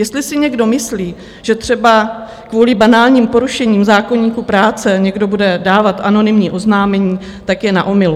Jestli si někdo myslí, že třeba kvůli banálním porušením zákoníku práce někdo bude dávat anonymní oznámení, tak je na omylu.